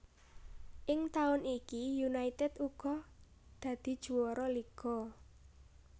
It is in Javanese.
Ing taun iki United uga dadi juwara liga